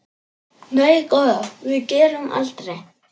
Nei góða, við gerum aldrei.